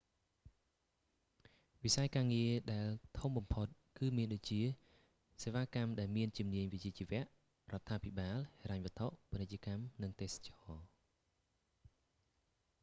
វិស័យការងារដែលធំបំផុត គឺមានដូចជា សេវាកម្មដែលមានជំនាញវិជ្ជាជីវៈ រដ្ឋាភិបាល ហិរញ្ញវត្ថុ ពាណិជ្ជកម្ម និងទេសចរណ៍